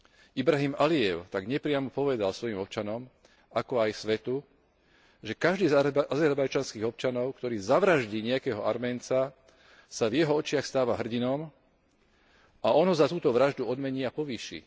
Ilham Alijev tak nepriamo povedal svojim občanom, ako aj svetu, že každý z azerbajdžanských občanov, ktorý zavraždí nejakého Arména, sa v jeho očiach stáva hrdinom a on ho za túto vraždu odmení a povýši.